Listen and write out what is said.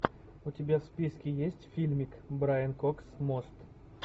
у тебя в списке есть фильмик брайан кокс мост